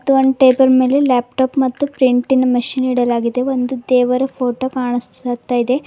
ಮತ್ತು ಒಂದ್ ಟೇಬಲ್ ಮೇಲೆ ಲ್ಯಾಪ್ಟಾಪ್ ಮತ್ತು ಪ್ರಿಂಟಿಂಗ್ ಮಷೀನ್ ಇಡಲಾಗಿದೆ ಮತ್ತು ಒಂದು ದೇವರ ಫೋಟೋ ಕಾಣುತ್ತಿದೆ.